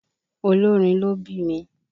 olórin ló bími.